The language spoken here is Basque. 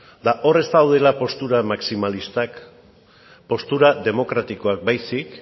eta hor ez daudela postura maximalistak postura demokratikoak baizik